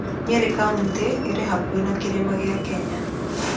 Nyeri kauntĩ ĩrĩ hakuhĩ na Kĩrĩma kĩa Kenya.